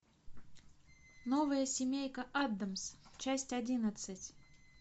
новая семейка аддамс часть одиннадцать